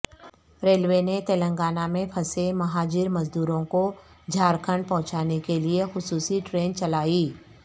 railway نے تلنگانہ میں پھنسے مہاجر مزدورںکو جھارکھنڈ پہنچانے کے لئے خصوصی ٹرین چلائی